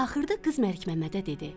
Axırda qız Məlikməmmədə dedi: